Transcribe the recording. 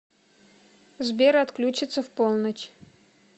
сбер отключится в полночь